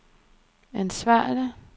ansvarlig